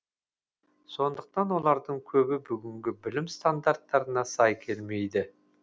сондықтан олардың көбі бүгінгі білім стандарттарына сай келмейді